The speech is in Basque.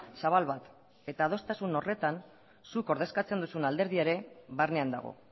zabal bat eta adostasun horretan zuk ordezkatzen duzun alderdia ere barnean dago